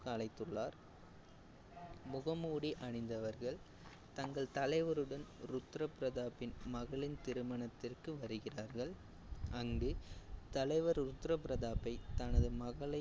அழைத்துள்ளார். முகமூடி அணிந்தவர்கள் தங்கள் தலைவருடன் ருத்ர பிரதாப்பின் மகளின் திருமணத்திற்கு வருகிறார்கள். அங்கு தலைவர் ருத்ர பிரதாப்பை தனது மகளை